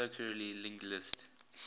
circularly linked list